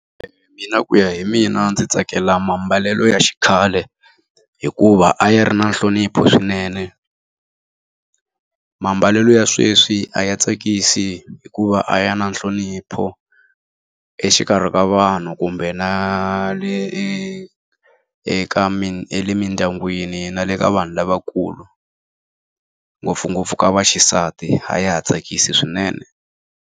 Mina ku ya hi mina ndzi tsakela mambalelo ya xikhale. Hikuva a ya ri na nhlonipho swinene. mambalelo ya sweswi a ya tsakisi hikuva a ya na nhlonipho exikarhi ka vanhu kumbe na le eka emindyangwini na le ka vanhu lavakulu. Ngopfungopfu ka vaxisati a ya ha tsakisi swinene.